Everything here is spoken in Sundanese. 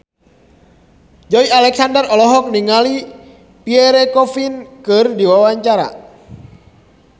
Joey Alexander olohok ningali Pierre Coffin keur diwawancara